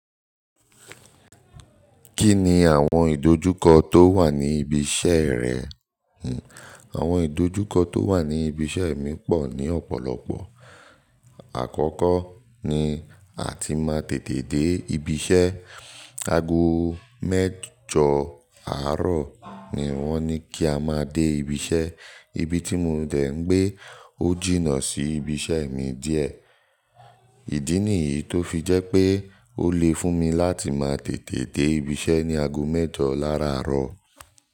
Kí ni àwọn ìdojúkọ tó wà ní ibi iṣẹ́ rẹ? Hmn, àwọn ìdojúkọ tó wà ní ibi iṣẹ́ mi pọ̀ ní ọ̀pọ̀lọpọ̀. Àkọ́kọ́ ni àti máa tètè dé ibi iṣẹ́. Ago mẹ́jọ àárọ̀ ni wọ́n ní kí a máa dé ibi iṣẹ́. Ibi tí mò ń dé ń gbé ó jìnnà sí ibi iṣẹ́ mi díẹ̀. Ìdí nìyí tó fi jẹ́ pé ó le fún mi láti máa tètè dé ibi iṣẹ́ ní ago mẹ́jọ láraárọ̀.